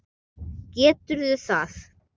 Geturðu það?